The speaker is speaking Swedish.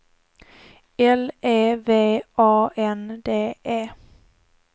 L E V A N D E